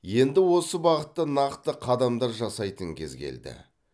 енді осы бағытта нақты қадамдар жасайтын кез келді